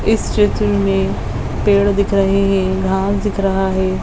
इस चित्र में पेड़ दिख रहे है घास दिख रहा है।